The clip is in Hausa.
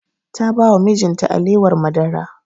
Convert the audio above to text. Ta ba wa mijin ta alewar madara